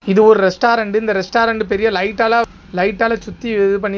இது ஒரு ரெஸ்டாரன்ட்டு இந்த ரெஸ்டாரன்ட்டு பெரிய லைட்டால லைட்டால சுத்தி இது பண்ணி--